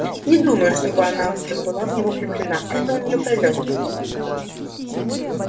не думаю чтобы она так была в него влюблена это у неё пройдёт